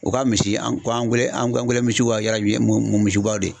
U ka misi an ko misiw wa mun misibaw de